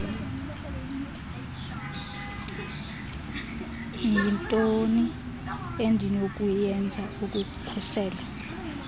yintoni endinokuyenza ukukhusela